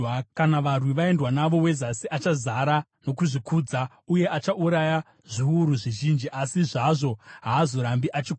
Kana varwi vaendwa navo, weZasi achazara nokuzvikudza uye achauraya zviuru zvizhinji, asi zvazvo haazorambi achikunda.